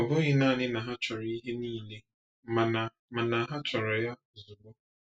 Ọ bụghị naanị na ha chọrọ ihe niile, mana mana ha chọrọ ya ozugbo.